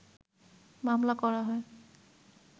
মামলা করা হয়